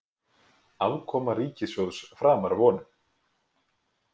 Afkoma ríkissjóðs framar vonum